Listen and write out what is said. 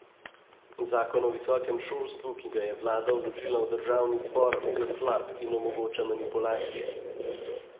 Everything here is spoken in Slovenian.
Zakon o visokem šolstvu, ki ga je vlada vložila v državni zbor, je slab in omogoča manipulacije.